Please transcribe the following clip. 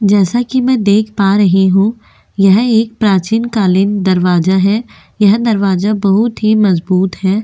जैसा कि मैं देख पा रही हूँ यह एक प्राचीन कालीन दरवाजा है यह दरवाजा बहुत ही मज़बूत है।